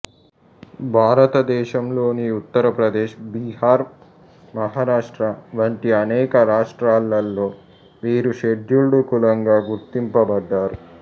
భారతదేశంలోని ఉత్తరప్రదేశ్ బీహార్ మహారాష్ట్ర వంటి అనేక రాష్ట్రాలలో వీరు షెడ్యూల్డు కులంగా గుర్తింపబడ్డారు